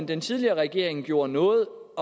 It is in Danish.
den tidligere regering gjorde noget